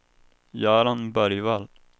Göran Bergvall